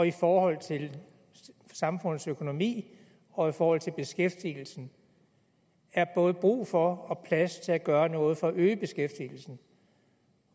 i forhold til samfundets økonomi og i forhold til beskæftigelsen er både brug for og plads til at gøre noget for at øge beskæftigelsen